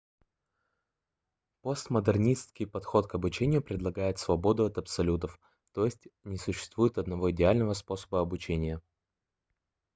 постмодернистский подход к обучению предлагает свободу от абсолютов т.е. не существует одного идеального способа обучения